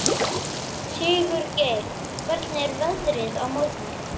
Sigurgeir, hvernig er veðrið á morgun?